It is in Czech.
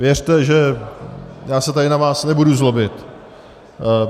Věřte, že já se tady na vás nebudu zlobit.